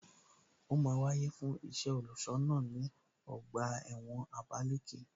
Ó máa wáyè fún iṣẹ́ olùṣọ́ náà ní ọgbà ẹ̀wọ̀n Abalaleke